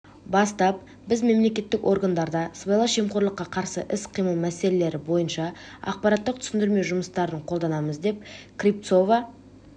бастап біз мемлекеттік органдарда сыбайлас жемқорлыққа қарсы іс-қимыл мәселелері бойынша ақпараттық-түсіндірме жұмыстарын қолданамыз деп кривцова